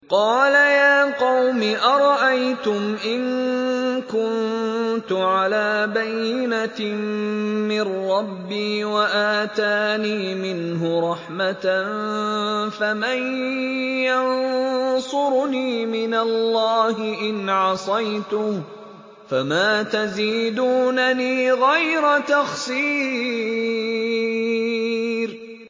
قَالَ يَا قَوْمِ أَرَأَيْتُمْ إِن كُنتُ عَلَىٰ بَيِّنَةٍ مِّن رَّبِّي وَآتَانِي مِنْهُ رَحْمَةً فَمَن يَنصُرُنِي مِنَ اللَّهِ إِنْ عَصَيْتُهُ ۖ فَمَا تَزِيدُونَنِي غَيْرَ تَخْسِيرٍ